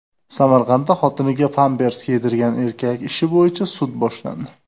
Samarqandda xotiniga pampers yedirgan erkak ishi bo‘yicha sud boshlandi.